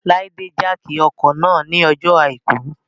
Láídè jákì ọkọ̀ náà ní ọjọ́ àìkú